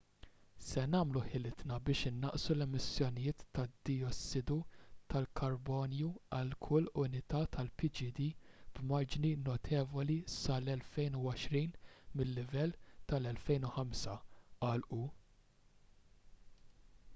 se nagħmlu ħilitna biex innaqsu l-emissjonijiet tad-dijossidu tal-karbonju għal kull unità tal-pgd b'marġni notevoli sal-2020 mil-livell tal-2005 qal hu